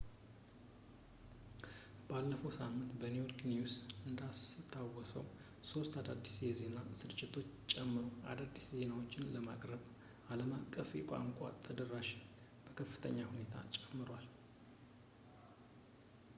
ባለፈው ሳምንት ኔክድ ኒውስ እንዳስታወቀው ሶስት አዳዲስ የዜና ስርጭቶችን ጨምሮ አዳዲስ ዜናዎችን ለማቅረብ የአለም አቀፍ ቋንቋውን ተደራሽነቱን በከፍተኛ ሁኔታ ይጨምራል